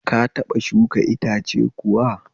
Ka taɓa shuka iatce kuwa?